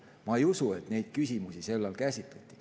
Ma ei usu, et neid küsimusi sel ajal käsitleti.